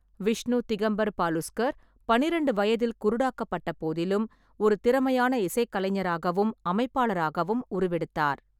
விஷ்ணு திகம்பர் பாலுஸ்கர் பன்னிரெண்டு வயதில் குருடாக்கப்பட்ட போதிலும் ஒரு திறமையான இசைக்கலைஞராகவும் அமைப்பாளராகவும் உருவெடுத்தார்.